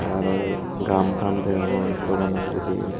te arow gam tham degongor dogano pijedi.